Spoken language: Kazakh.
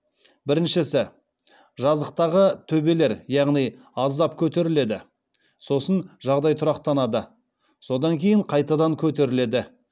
біріншісі жазықтағы төбелер яғни аздап көтеріледі сосын жағдай тұрақтанады содан кейін қайтадан көтеріледі